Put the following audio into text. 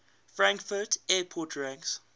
frankfurt airport ranks